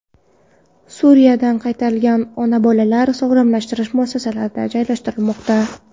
Suriyadan qaytarilgan ona-bolalar sog‘lomlashtirish muassasalarida joylashtirilmoqda.